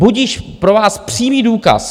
Budiž pro vás přímý důkaz.